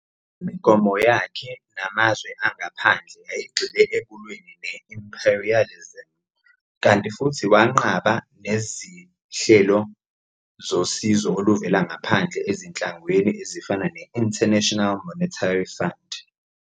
Imigomo yakhe namazwe angaphandle yayigxile ekulweni ne-imperialism, kanti futhi wanqaba nezihlelo zosizo oluvela ngaphandle ezinhlanganweni ezifana ne-International Monetary Fund.